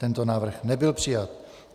Tento návrh nebyl přijat.